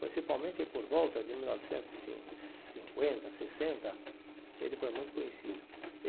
Principalmente por volta de mil novecentos e cin cinquenta, sessenta, ele foi muito conhecido.